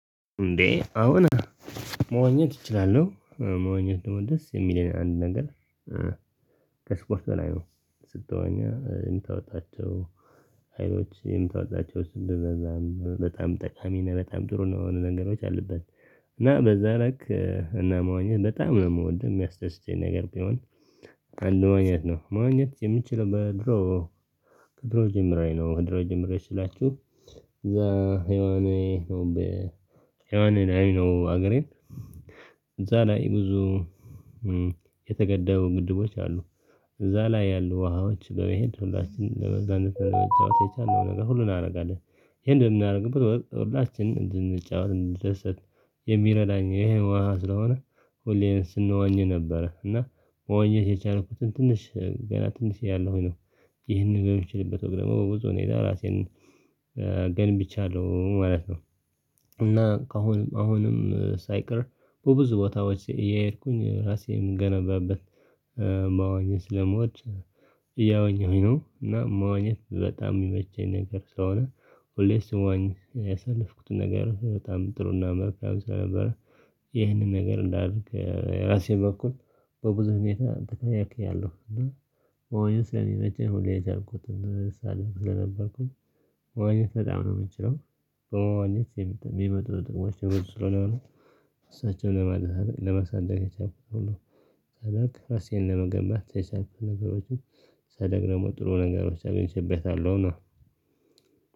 እንዴ አሁን መዋኘት እችላለሁ መዋኘት ደግሞ ደስ የሚለኝ አንድ ነገር ከስፖርት በላይ ነው። ስትዋኚ የምታወጣቸው አይኖች የምታወጣቸው ስንት እንደዛም በጣም ጠቃሚ በጣም ጥሩ ነው የሆነ ነገሮች አሉት። እና በዛ ላይክ እና መሆን በጣም ነው የምወደው የሚያስደስተኝ ነገር ቢሆን። አንዱ መዋኘት ነው መዋኘት የምችለው በድሮ ከድሮ ጀምሬ ነው ከድሮ ጀምሬ ስላችሁ። እዛ የዋኔ ነው የዋኔ ላይ ነገር ነው። እዛ ላይ ብዙ የተገደቡ ግድቦች አሉ። እዛ ላይ ያሉ ውሃዎች በመሄድ ሁላችንም ለመዝረፍ ቻውቻቸው የቻለውን ነገር ሁሉን አደርጋለሁ። ይሄን የምናደርገው ብርብር ሁላችንም እንድንጫወት እንድንደሰት። የሚረዳኝ ይሄን ውሃ ስለሆነ ሁሌም ስንዋኝ ነበረ እና መዋኘት የቻልኩት ትንሽ ገና ትንሽ እያለው ነው። ይሄንን በሚችልበት ወግ ደግሞ ብዙ እሄዳለሁ ራሴን ገንብቻለሁ ማለት ነው። እና አሁንም ሳይቀር በብዙ ቦታዎች እየሄድኩኝ ራሴን እምገንባበት። መዋኘት ስለምወድ እያወኘሁኝ ነው። እና መዋኘት በጣም የሚመቸኝ ነገር ስለሆነ ሁሌ ስዋኝ ያሳለፍኩትን ነገር በጣም ጥሩና መልካም ስለነበረ። ይህንን ነገር እንዳደርግ የራሴን በኩል በብዙ ሁኔታ ተከታትያለሁ ግን። መዋኘት ስለሚመቸኝ ሁሌ የቻልኩትን ህፃን ደግሞ ስነበርኩኝ መዋኘት በጣም ነው የምንችለው። በመዋኘት የሚመጡ ጥቅሞች ብዙ ስለሆኑ እሳቸውን ለማድረግ ለማሳደግ ያቻልኩት። ነው ራሴን ለመገንባት የቻልኩት ነገሮችን ሳድግ ደግሞ ጥሩ ነገሮች አገኝቼበታለሁ። እና